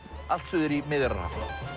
allt suður í Miðjarðarhaf